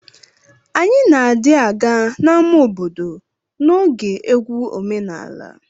Anyi na di aga na ama obodo na oge egwu omenala.